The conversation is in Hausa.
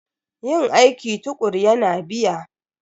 Yin aiki tukuru yana biya.